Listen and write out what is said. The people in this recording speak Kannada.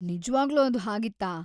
ನಿಜ್ವಾಗ್ಲೂ ಅದು ಹಾಗಿತ್ತಾ?